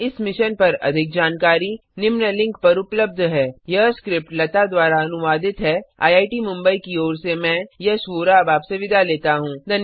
इस मिशन पर अधिक जानकारी निम्न लिंक पर उपलब्ध है httpspoken tutorialorgNMEICT Intro यह स्क्रिप्ट लता द्वारा अनुवादित है आईआईटी मुंबई की ओर से मैं यश वोरा अब आपसे विदा लेता हूँ